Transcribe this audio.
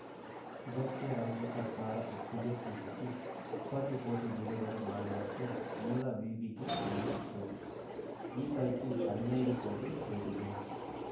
ಇದಕ್ಕೆ ರಾಜ್ಯ ಸರ್ಕಾರ ಒಪ್ಪಿಗೆ ಸೂಚಿಸಿ ಇಪ್ಪತ್ತು ಕೋಟಿ ಬಿಡುಗಡೆ ಮಾಡುವಂತೆ ಮೂಲ ವಿವಿಗೆ ತಿಳಿಸಿತ್ತು ಈ ಪೈಕಿ ಹದಿನೈದು ಕೋಟಿ ಸೇರಿದೆ